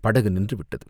படகு நின்று விட்டது.